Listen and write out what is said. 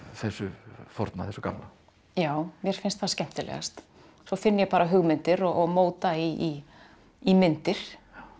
þessu forna þessu gamla já mér finnst það skemmtilegast svo finn ég bara hugmyndir og móta í í myndir